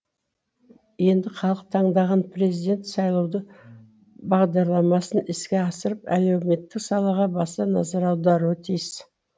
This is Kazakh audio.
енді халық таңдаған президент сайлауалды бағдарламасын іске асырып әлеуметтік салаға баса назар аударуы тиіс